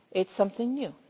It is something new.